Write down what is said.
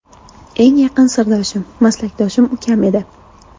Eng yaqin sirdoshim, maslakdoshim ukam edi.